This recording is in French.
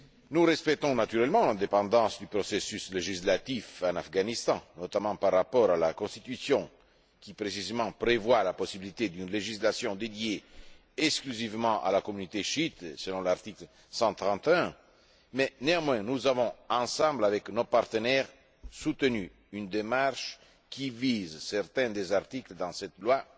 Nous respectons naturellement l'indépendance du processus législatif en Afghanistan, notamment par rapport à la constitution qui, précisément, prévoit la possibilité d'une législation dédiée exclusivement à la communauté chiite, selon l'article 131, mais nous avons néanmoins, avec nos partenaires, soutenu une démarche qui vise certains des articles de cette loi